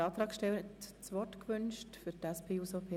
Der Antragsteller wünscht das Wort.